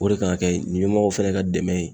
O de kan ka kɛ ɲɛmɔgɔw fɛnɛ ka dɛmɛ ye